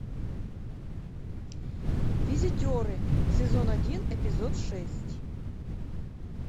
визитеры сезон один эпизод шесть